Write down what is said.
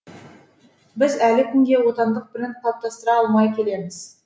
біз әлі күнге отандық бренд қалыптастыра алмай келеміз